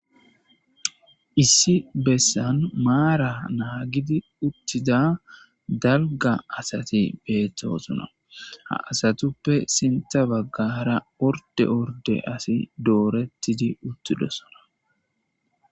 Issi bessan maara naagidi uttida dalga asati beethtosona ha asatuppe sinta baggara orde orde asi doorettidi uttidosona.